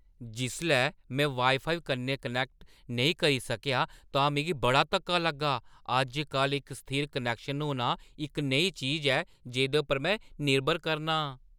जिसलै में वाई-फाई कन्नै कनैक्ट नेईं करी सकेआ तां मिगी बड़ा धक्का लग्गा । अज्ज-कल, इक स्थिर कनैक्शन होना इक नेही चीज ऐ जेह्दे पर में निर्भर करना आं।